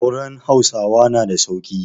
Auren Hausawa na da sauƙi.